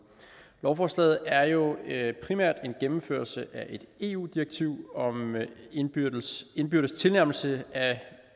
lovforslaget er jo primært en gennemførelse af et eu direktiv om indbyrdes indbyrdes tilnærmelse af